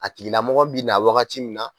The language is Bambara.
A tigilamɔgɔ bi na wagati min na